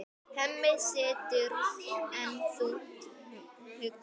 Hemmi situr enn þungt hugsi.